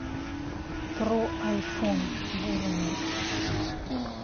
про айфон бурунов